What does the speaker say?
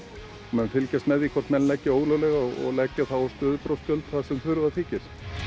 mun fylgjast með því hvort menn leggja ólöglega og leggja þá á stöðubrotsgjöld þar sem þurfa þykir